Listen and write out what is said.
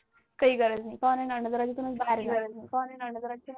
काही गरज नाही